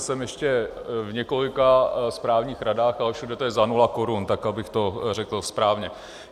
Jsem ještě v několika správních radách, ale všude to je za nula korun, tak abych to řekl správně.